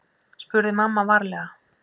spurði mamma varlega.